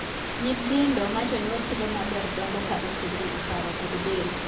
Nyithindo ma jonyuol pidho maber dongo ka otegno e paro kod del.